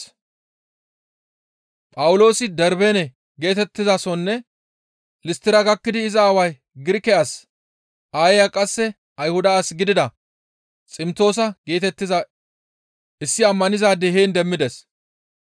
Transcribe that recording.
Phawuloosi Darbeene geetettizasonne Listtira gakkidi iza aaway Girike as, aayeya qasse Ayhuda as gidida Ximtoosa geetettiza issi ammanizaade heen demmides.